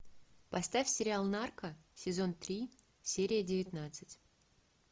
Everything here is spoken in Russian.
поставь сериал нарко сезон три серия девятнадцать